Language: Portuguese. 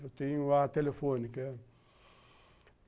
Eu tenho a telefônica.